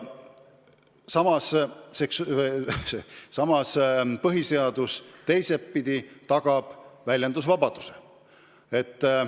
Samas, teistpidi tagab põhiseadus väljendusvabaduse.